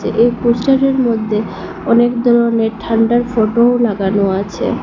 এই পোস্টারের মধ্যে অনেক ধরনের ঠান্ডার ফটোও লাগানো আছে।